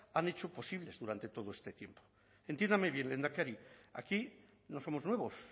han hecho posibles durante todo este tiempo entiéndame bien lehendakari aquí no somos nuevos